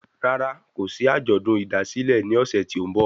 Rárá, kòsí àjọ̀dún ìdásílẹ̀ ní ọ̀sẹ̀ tí o n bọ̀